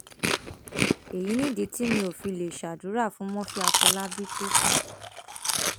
èyí nìdí tí mi ò fi lè ṣàdúrà fún murphy àfọlábí tó kù